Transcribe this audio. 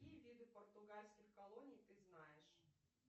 какие виды португальских колоний ты знаешь